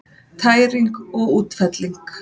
Tæring og útfelling